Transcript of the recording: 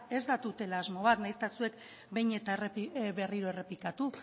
ez da tutela asmo bat nahiz eta zuek behin eta berriro errepikatu